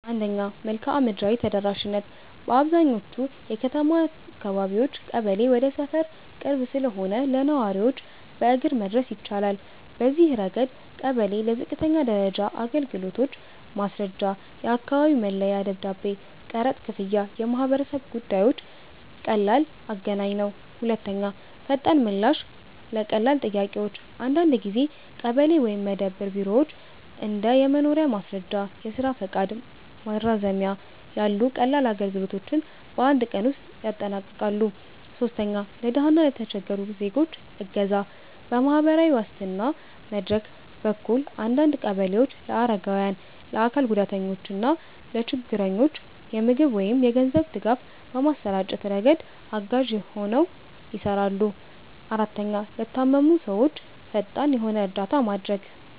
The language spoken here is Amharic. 1. መልክዓ ምድራዊ ተደራሽነት - በአብዛኛዎቹ የከተማ አካባቢዎች ቀበሌ ወደ ሰፈር ቅርብ ስለሆነ ለነዋሪዎች በእግር መድረስ ይቻላል። በዚህ ረገድ ቀበሌ ለዝቅተኛ ደረጃ አገልግሎቶች (ማስረጃ፣ የአካባቢ መለያ ደብዳቤ፣ ቀረጥ ክፍያ፣ የማህበረሰብ ጉዳዮች) ቀላል አገናኝ ነው። 2. ፈጣን ምላሽ ለቀላል ጥያቄዎች - አንዳንድ ጊዜ ቀበሌ ወይም መደብር ቢሮዎች እንደ የመኖሪያ ማስረጃ፣ የስራ ፈቃድ ማራዘሚያ ያሉ ቀላል አገልግሎቶችን በአንድ ቀን ውስጥ ያጠናቅቃሉ። 3. ለድሃ እና ለተቸገሩ ዜጎች እገዛ - በማህበራዊ ዋስትና መድረክ በኩል አንዳንድ ቀበሌዎች ለአረጋውያን፣ ለአካል ጉዳተኞች እና ለችግረኞች የምግብ ወይም የገንዘብ ድጋፍ በማሰራጨት ረገድ አጋዥ ሆነው ይሰራሉ። 4, ለታመሙ ሰዎች ፈጣን የሆነ እርዳታ ማድረግ